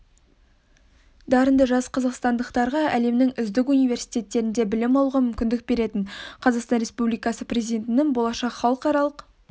дарынды жас қазақстандықтарға әлемнің үздік университеттерінде білім алуға мүмкіндік беретін қазақстан республикасы президентінің болашақ халықаралық